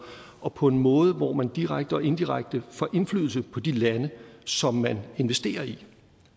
og på en måde hvor man direkte og indirekte får indflydelse på de lande som man investerer i